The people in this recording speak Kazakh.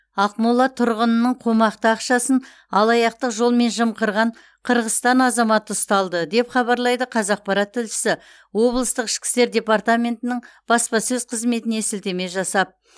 ақмола тұрғынының қомақты ақшасын алаяқтық жолмен жымқырған қырғызстан азаматы ұсталды деп хабарлайды қазақпарат тілшісі облыстық ішкі істер департаментінің баспасөз қызметіне сілтеме жасап